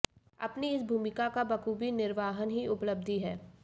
अपनी इस भूमिका का बखूवी निर्वहन ही उपलब्धि है